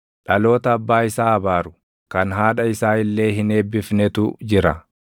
“Dhaloota abbaa isaa abaaru kan haadha isaa illee hin eebbifnetu jira;